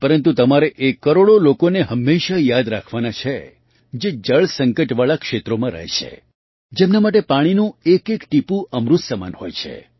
પરંતુ તમારે એ કરોડો લોકોને હંમેશાં યાદ રાખવાના છે જે જળ સંકટવાળાં ક્ષેત્રોમાં રહે છે જેમના માટે પાણીનું એકએક ટીપું અમૃત સમાન હોય છે